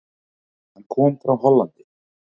Hann kom frá Hollandi.